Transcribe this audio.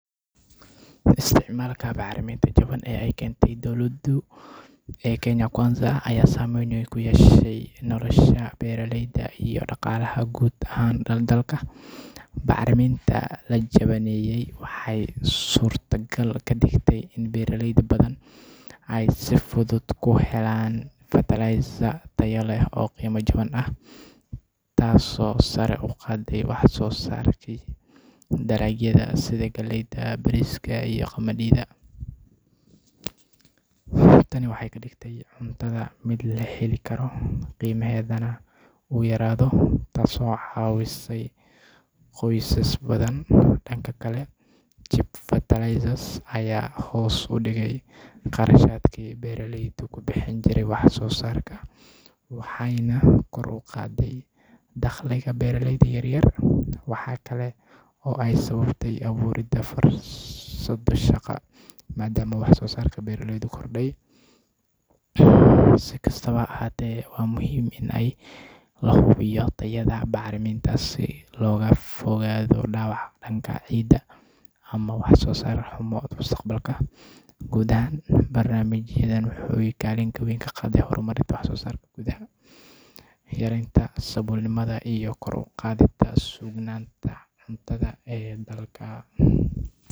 sameynta bacariminta ee kenya dowlada kenya kwanza aya sameyn weyn ku yeeshay nolosha beraleyda iyo dhaqalaha guud ahaan dalka. bacariminta la jabiney aya wexey surto gal ka dhigte in beraleyda helaan ferterlizers tayo leh o qimo jaban ah, tasoo sara u qade wax soo sarka darajada sida galleyda, bariska iyo qamadida. tani wexey ka dhigte cuntada mid la heli karo, qimahedana u yaraday tasoo cawisay qoysas badan. dhanka kale, (cheap fertilizers) aya hoos u dhige qarashadki beraleyda ku bixin jireen wax soo sarka, wexeyna kor u qade dakhliga beralleyda yaryar. waxa kalo oo eey sababtay aburista shaqo, madama wax soo sarka beraleyda kordhey.si kasto ha ahaate, waa muhim in la hubiyo tayo bacarimintasi, loga fogaado dhibaato dhanka ciidda ama wax soo sar xumo mustaqbalka. guud ahaan, barnamijadan wexey kalin weyn ka qatan hormarka wax soo sarka gudaha, yarenta saboolnimada iyo kor uqadita sugnanta suuqyada cuntada.